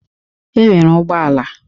E nwere ụgbọala